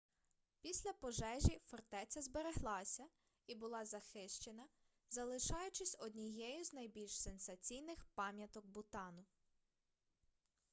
після пожежі фортеця збереглася і була захищена залишаючись однією з найбільш сенсаційних пам'яток бутану